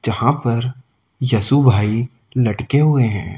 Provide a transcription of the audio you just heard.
जहां पर यशु भाई लटके हुए हैं।